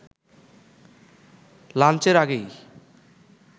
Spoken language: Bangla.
লাঞ্চের আগেই